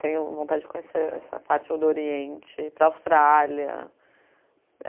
Tenho vontade de conhecer essa parte do Oriente, para a Austrália.